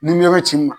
Ni mi yɔrɔ ci i ma